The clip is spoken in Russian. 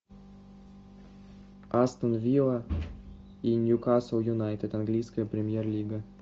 астон вилла и ньюкасл юнайтед английская премьер лига